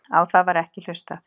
Á það var ekki hlustað